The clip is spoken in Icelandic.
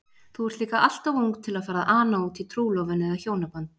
Þú ert líka alltof ung til að fara að ana útí trúlofun eða hjónaband.